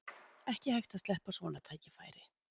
Ekki hægt að sleppa svona tækifæri